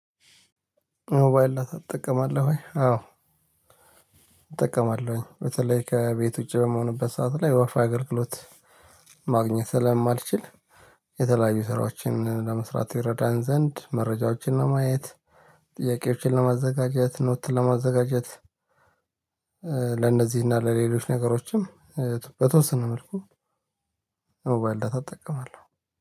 ሞባይል ዳታ ትጠቀማለህ ወይ? አዎ እጠቀማለሁኝ። በተለይ ከቤት ውጪ በምሆንበት ሰዓት ላይ ወይፋ አገልግሎት ማግኘት ስለማልችል። የተለያዩ ስራዎችን ለመስራት ይረዳን ዘንድ መረጃዎችን ለማየት ጥያቄዎችን ለማዘጋጀት ኖት ለማዘጋጀት። ለነዚህ እና ለሌሎች ነገሮችም በተወሰነ መልኩ ሞባይል ዳታ እጠቀማለሁ።